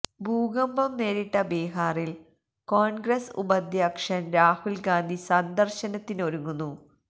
ഭൂകന്പം നേരിട്ട ബീഹാറില് കോൺഗ്രസ് ഉപാധ്യക്ഷൻ രാഹുൽ ഗാന്ധി സന്ദര്ശനത്തിനൊരുങ്ങുന്നു